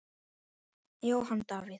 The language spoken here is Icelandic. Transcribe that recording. Jóhann Davíð.